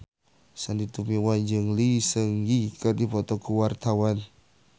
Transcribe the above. Sandy Tumiwa jeung Lee Seung Gi keur dipoto ku wartawan